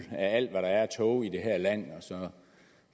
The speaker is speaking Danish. af alt hvad der er af tog i det her land